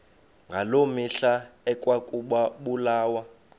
ngaloo mihla ekwakubulawa